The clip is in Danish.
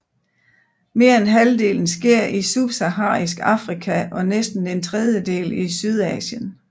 Mere end halvdelen sker i Subsaharisk Afrika og næsten en tredjedel i Sydasien